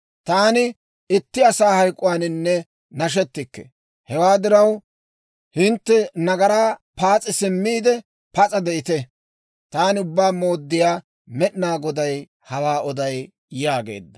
Taani itti asaa hayk'k'uwaaninne nashetikke. Hewaa diraw, hintte nagaraa paas'i simmiide, pas'a de'ite! Taani Ubbaa Mooddiyaa Med'inaa Goday hawaa oday» yaageedda.